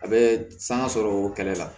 A bɛ sanga sɔrɔ kɛlɛ la